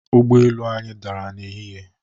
Ụgbo elu anyị dara n'ehihie.